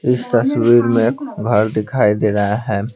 इस तस्वीर में घर दिखाई दे रहा है।